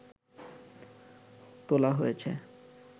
তোলা হয়েছে